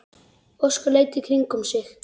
Óskar leit í kringum sig.